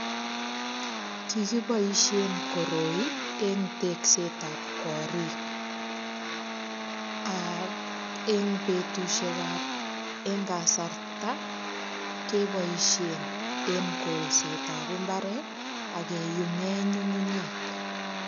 Kikiboishen koroi eng tekset ap korik ak eng betushek ap eng kasarta keboishen en kolset ap mbaret ak keyumen nyukunyek.